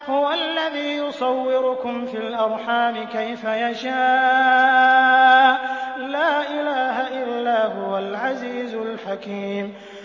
هُوَ الَّذِي يُصَوِّرُكُمْ فِي الْأَرْحَامِ كَيْفَ يَشَاءُ ۚ لَا إِلَٰهَ إِلَّا هُوَ الْعَزِيزُ الْحَكِيمُ